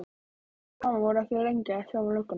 Pabbi og mamma voru ekki lengi að sjá við löggunni.